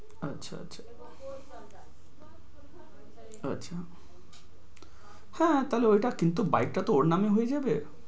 আচ্ছা আচ্ছা, আচ্ছা। হ্যাঁ ওইটা কিন্তু bike টা তো ওর নামে হয়ে যাবে।